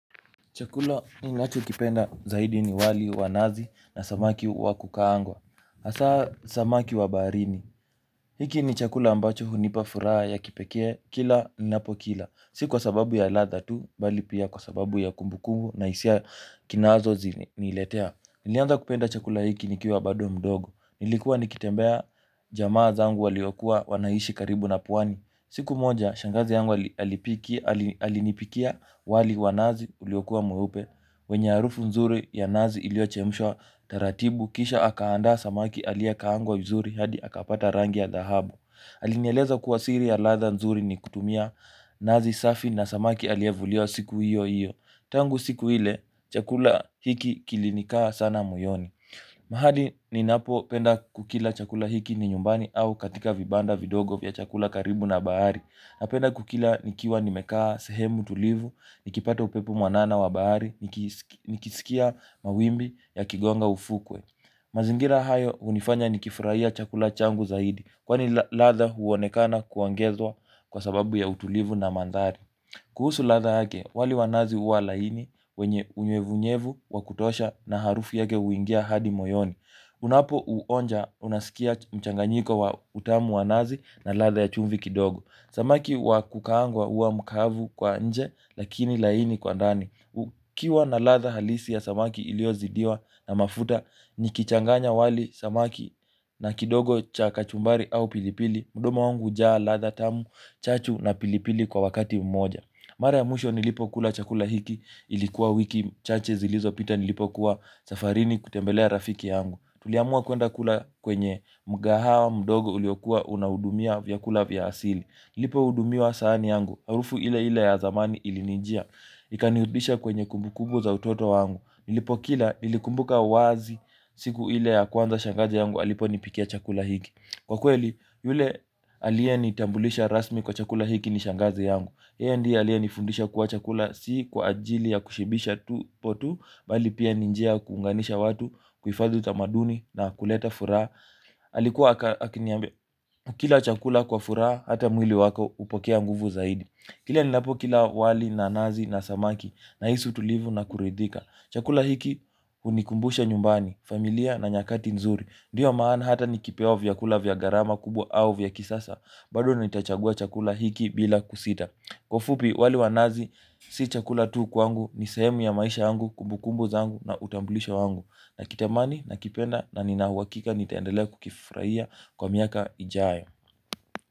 Chakula ninachokipenda zaidi ni wali wanazi na samaki wakukaangwa. Haswa samaki wa baharini. Hiki ni chakula ambacho hunipa furaha ya kipekee kila ninapo kila, si kwa sababu ya ladha tu bali pia kwa sababu ya kumbukumbu na hisia inazo niletea. Nilianza kupenda chakula hiki nikiwa bado mdogo, nilikuwa nikitembea jamaa zangu waliokua wanaishi karibu na pwani. Siku moja, shangazi yangu alipikia. Alinipikia wali wa nazi uliokua mweupe, wenye harufu nzuri ya nazi iliyochemshwa taratibu. Kisha akaanda samaki aliye kaangwa vizuri hadi akapata rangi ya dhahabu. Alinyeleza kuwa siri ya ladha nzuri ni kutumia nazi safi na samaki aliye vuliwa siku hiyo hiyo. Tangu siku hile, chakula hiki kilinikaa sana moyoni. Mahali ninapo penda kukila chakula hiki ni nyumbani, au katika vibanda vidogo vya chakula karibu na bahari. Napenda kukila nikiwa nimekaa sehemu tulivu, nikipata upepu mwanana wa bahari, nikisikia mawimbi ya kigonga ufukwe. Mazingira hayo hunifanya nikifurahia chakula changu zaidi, kwani ladha huonekana kuongezwa kwa sababu ya utulivu na mandhari. Kuhusu ladha yake, wali wa nazi huwa laini, wenye unyevunyevu, wakutosha na harufi yake huingia hadi moyoni. Unapouonja unasikia mchanganyiko wa utamu wa nazi na ladha ya chumvi kidogo. Samaki wa kukaangwa huwa mukavu kwa nje, lakini laini kwa ndani. Ukiwa na ladha halisi ya samaki iliozidiwa na mafuta nikichanganya wali samaki. Na kidogo cha kachumbari au pilipili mdomo wangu hujaa ladha tamu, chachu na pilipili kwa wakati mmoja. Mara ya mwisho nilipo kula chakula hiki, ilikuwa wiki chache zilizopita nilipokuwa safarini kutembelea rafiki yangu. Tuliamua kuenda kula kwenye mgahawa mdogo uliokua unaudumia vyakula vya asili. Nilipo hudumiwa saani yangu harufu ile ile ya zamani ilinijia. Ikanirudisha kwenye kumbukumbu za utoto wangu, nilipokila nilikumbuka wazi siku ile ya kwanza shangazi yangu aliponipikia chakula hiki. Kwa kweli yule aliyenitambulisha rasmi kwa chakula hiki ni shangazi yangu, yeye ndiye aliyenifundisha chakula si kwa ajili ya kushibisha tumbo tu. Bali pia ni njia ya kuunganisha watu, kuhifadhi utamaduni na kuleta furaha. Alikua akiniambia, ukila chakula kwa furaha, hata mwili wako hupokea nguvu zaidi. Kila ninapokula wali nazi na samaki nahisi utulivu na kuridhika. Chakula hiki hunikumbusha nyumbani, familia na nyakati nzuri. Ndio maana hata nikipewa vyakula vya gharama kubwa au vya kisasa. Bado nitachagua chakula hichi bila kusita. Kwa ufupi wali wa nazi si chakula tu kwangu. Ni sehemu ya maisha yangu, kumbukumbu zangu, na utambulisho wangu. Nakitamani, nakipenda na nina uhakika nitaendelea kukifurahia kwa miaka ijayo.